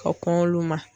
Ka kɔn olu ma